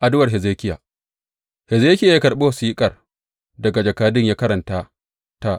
Addu’ar Hezekiya Hezekiya ya karɓi wasiƙar daga jakadun ya karanta ta.